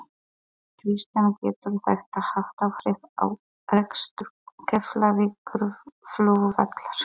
Kristján: Getur þetta haft áhrif á rekstur Keflavíkurflugvallar?